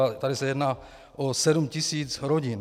A tady se jedná o sedm tisíc rodin.